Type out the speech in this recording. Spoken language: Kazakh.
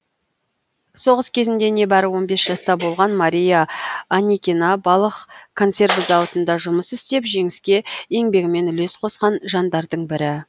соғыс кезінде небәрі он бес жаста болған мария аникина балық консерві зауытында жұмыс істеп жеңіске еңбегімен үлес қосқан жандардың бірі